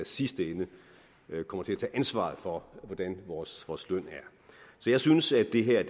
sidste ende kommer til at tage ansvaret for hvordan vores vores løn er så jeg synes at det her